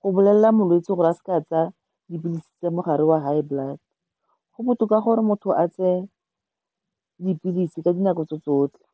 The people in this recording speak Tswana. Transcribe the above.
go bolelela molwetse gore a seke a tsaya dipilisi tsa mogare wa high blood. Go botoka gore motho a tseye dipilisi ka dinako tso tsotlhe.